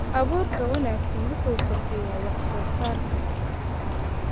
Abuurka wanaagsan wuxuu kordhiyaa wax-soo-saarka.